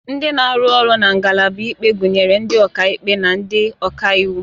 Ndị na-arụ ọrụ na ngalaba ikpe gụnyere ndị ọkaikpe na ndị ọka iwu